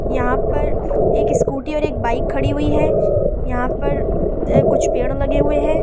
यहां पर एक स्कूटी और एक बाइक खड़ी हुई है यहां पर अ कुछ पेड़ लगे हुए हैं।